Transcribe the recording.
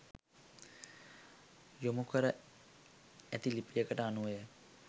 යොමු කර ඇති ලිපියකට අනුවය.